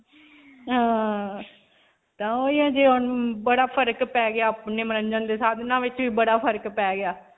ਹਾਂ, ਤਾਂ ਓਹੀ ਹੈ ਜੇ ਹੁਣ ਬੜਾ ਫਰਕ ਪੈ ਗਿਆ ਅਪਨੇ ਮੰਨਣ ਦੇ ਨਾਲ ਬੜਾ ਫਰਕ ਪੈ ਗਿਆ.